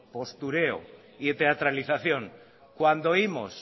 postureo y teatralización cuando oímos